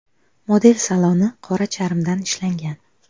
Model saloni qora charmdan ishlangan.